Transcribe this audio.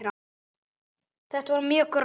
Þetta var mjög gróft.